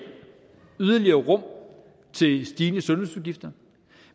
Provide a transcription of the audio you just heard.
yderligere rum til stigende sundhedsudgifter